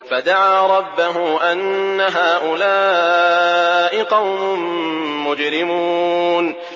فَدَعَا رَبَّهُ أَنَّ هَٰؤُلَاءِ قَوْمٌ مُّجْرِمُونَ